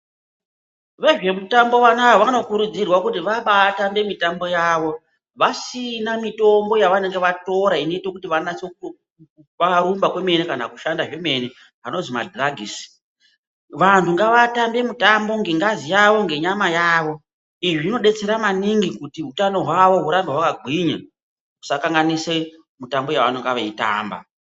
Vezve mutambo vanava vanokurudzirwa kuti vabatambe mitambo yavo. Vasina mitombo yavanenge vatora inoita kuti vabarumba kwemene kana kushanda zvemene anozi madhuragisi. Vantu ngavatambe mitambo ngengazi yavo ngenyama yavo. Izvi zvinobetsera maningi kuti hutano hwavo hurambe hwakagwinya. Zvisakanganise mitambo yavanenge vaitamba.